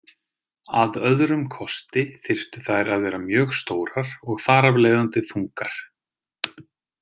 Að öðrum kosti þyrftu þær að vera mjög stórar og þar af leiðandi þungar.